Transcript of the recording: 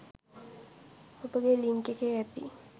ඔබගේ ලින්ක් එකේ ඇති